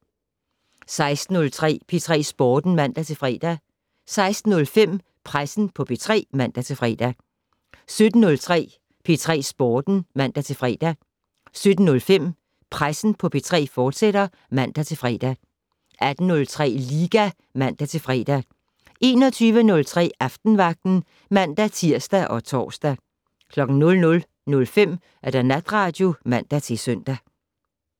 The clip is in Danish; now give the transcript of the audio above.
16:03: P3 Sporten (man-fre) 16:05: Pressen på P3 (man-fre) 17:03: P3 Sporten (man-fre) 17:05: Pressen på P3, fortsat (man-fre) 18:03: Liga (man-fre) 21:03: Aftenvagten (man-tir og tor) 00:05: Natradio (man-søn)